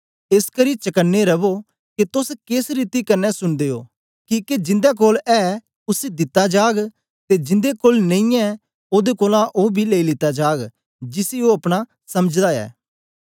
एसकरी चकने रवो के तोस केस रीति कन्ने सुनदे ओ किके जिन्दे कोल ऐ उसी दिता जाग ते जिन्दे कोल नेई ऐ ओदे कोलां ओ बी लेई लीता जाग जिसी ओ अपना समझदा ऐ